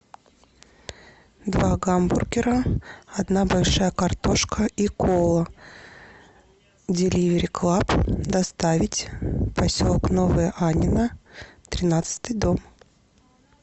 два гамбургера одна большая картошка и кола деливери клаб доставить поселок новое аннино тринадцатый дом